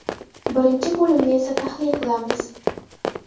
Birinchi bo‘limni esa tahlil qilamiz.